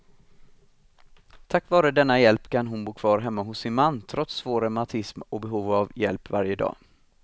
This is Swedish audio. Tack vare denna hjälp kan hon bo kvar hemma hos sin man, trots svår reumatism och behov av hjälp varje dag.